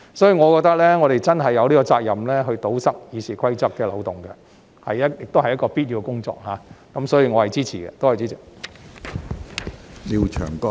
所以，我認為我們真的有責任堵塞《議事規則》的漏洞，亦是必要的工作，因此我是支持這項議案的。